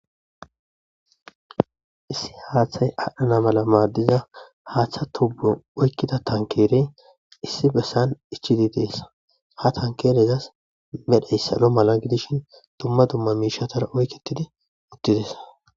Issi haaththay aadhdhana mala maaddiza haaththa tubbu oykkida tankeerey issi bessan ichidi deessa ha tankelezas medheyssalo mala gidishin dumma dumma miishatara oykketidi ittides